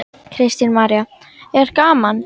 Kristín María: Er gaman?